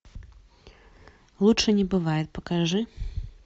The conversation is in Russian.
лучше не бывает покажи